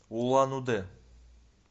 улан удэ